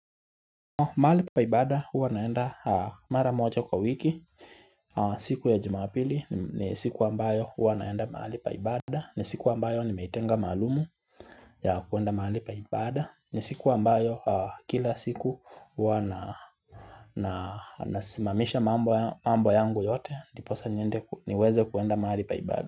Mahali pa ibada huwa naenda mara moja kwa wiki siku ya jumapili ni siku ambayo huwa naenda mahali pa ibada ni siku ambayo nimeitenga maalumu ya kuenda mahali pa ibada ni siku ambayo kila siku huwa na nasimamisha mambo yangu yote Ndiposa niende niweze kuenda mahali pa ibada.